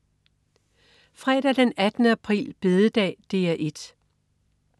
Fredag den 18. april. Bededag - DR 1: